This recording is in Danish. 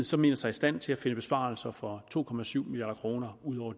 så mener sig i stand til at finde besparelser for to milliard kroner ud over